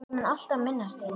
Ég mun alltaf minnast þín.